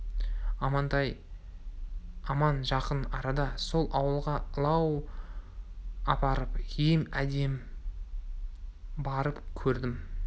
амантай аман жақын арада сол ауылға ылау апарып ем әдейі барып көрдім